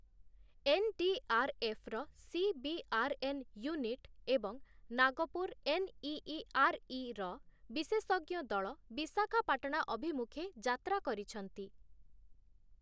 NDRF. ର CBRN. Unit ଏବଂ Nagpur NEERI. ର ବିଶେଷଜ୍ଞ ଦଳ ବିଶାଖାପାଟଣା ଅଭିମୁଖେ ଯାତ୍ରା କରିଛନ୍ତି ।